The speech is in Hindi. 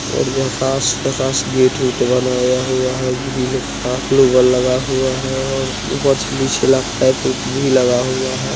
और यहा खास-खास गेट उत बनाया हुआ है ग्रिल का लगा हुआ है और ऊपर से भी शीलब उलब का कप भी लगाया हुआ है।